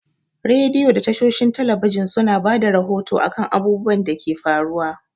Rediyo da tashoshin talabijan su na bada rahoto a kan abubuwan da ke faruwa